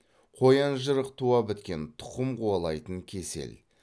қоянжырық туабіткен тұқым қуалайтын кесел